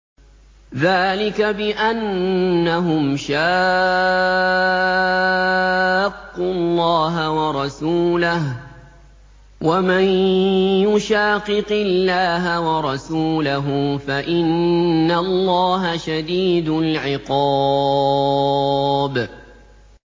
ذَٰلِكَ بِأَنَّهُمْ شَاقُّوا اللَّهَ وَرَسُولَهُ ۚ وَمَن يُشَاقِقِ اللَّهَ وَرَسُولَهُ فَإِنَّ اللَّهَ شَدِيدُ الْعِقَابِ